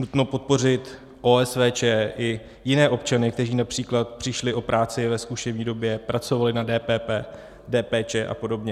Nutno podpořit OSVČ i jiné občany, kteří například přišli o práci ve zkušební době, pracovali na DPP, DPČ a podobně.